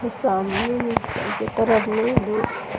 उ सामने मेंघर के तरफ में दो --